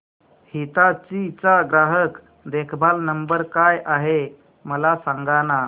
हिताची चा ग्राहक देखभाल नंबर काय आहे मला सांगाना